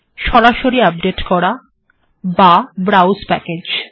সরাসরি এটিকে আপডেট্ করা এবং ব্রাউস্ প্যাকেজ্